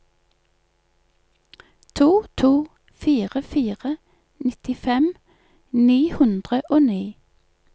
to to fire fire nittifem ni hundre og ni